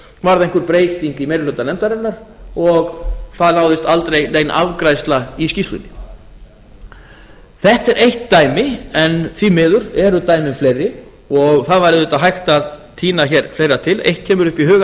einhver breyting í meiri hluta nefndarinnar og það náðist aldrei nein afgreiðsla í skýrslunni þetta er eitt dæmi en því miður eru dæmin fleiri og það væri auðvitað hægt að tína hér fleira til eitt kemur upp í hugann